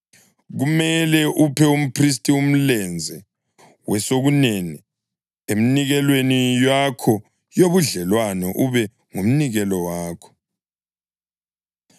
Kumele uphe umphristi umlenze wesokunene eminikelweni yakho yobudlelwano ube ngumnikelo wakho.